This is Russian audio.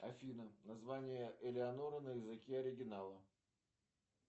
афина название элеонора на языке оригинала